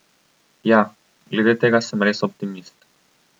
Ja, glede tega sem res optimist.